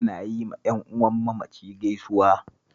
Ana yi wa ƴan'uwan mamaci gaisuwa